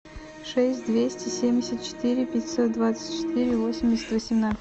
шесть двести семьдесят четыре пятьсот двадцать четыре восемьдесят восемнадцать